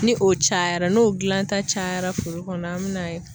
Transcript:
Ni o cayara n'o gilanta cayara furu kɔnɔ an bi n'a ye